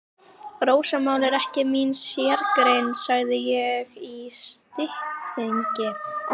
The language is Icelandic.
Rósamál er ekki mín sérgrein, sagði ég í styttingi.